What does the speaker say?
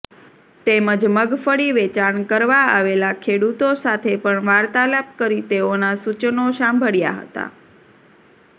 તેમજ મગફળી વેચાણ કરવા આવેલા ખેડુતો સાથે પણ વાર્તાલાપ કરી તેઓના સુચનો સાંભળ્યા હતા